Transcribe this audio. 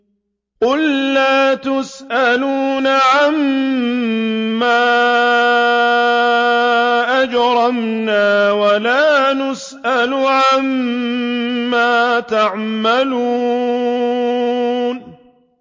قُل لَّا تُسْأَلُونَ عَمَّا أَجْرَمْنَا وَلَا نُسْأَلُ عَمَّا تَعْمَلُونَ